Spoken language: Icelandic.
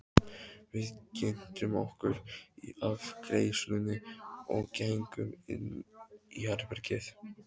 Við kynntum okkur í afgreiðslunni og gengum inn í herbergið.